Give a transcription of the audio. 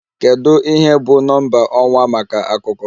Kedu ihe bụ Nọmba ọwa maka Akụkọ?